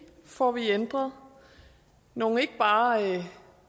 får vi ændret nogle ikke bare